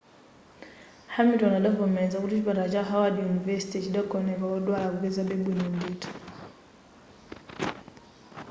hamilton adavomeleza kuti chipatala cha howard university chidagoneka wodwala akupezabe bwino ndithu